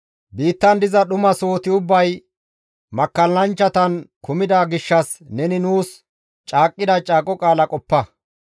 Biittan diza dhuma sohoti ubbay makkallanchchatan kumida gishshas neni nuus caaqqida caaqo qaala qoppa.